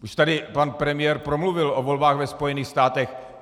Už tady pan premiér promluvil o volbách ve Spojených státech.